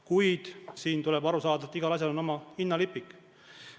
Kuid tuleb aru saada, et igal asjal on oma hinnalipik.